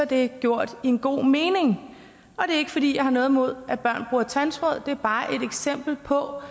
det er gjort i en god mening og er ikke fordi jeg har noget imod at børn bruger tandtråd det er bare et eksempel på